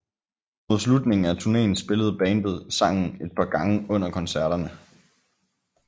Mod slutningen af turnéen spillede bandet sangen er par gange under koncerterne